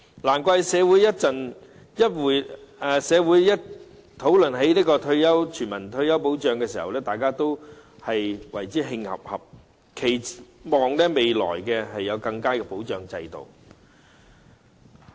難怪社會每次討論全民退休保障時，大家都會感到憤慨，期望未來能有更佳的保障制度。